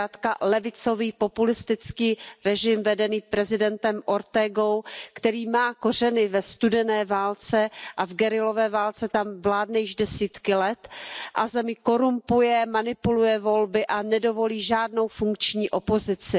Zkrátka levicový populistický režim vedený prezidentem Ortegou, který má kořeny ve studené válce a v guerillové válce, tam vládne již desítky let, zemi korumpuje, manipuluje volby a nedovolí žádnou funkční opozici.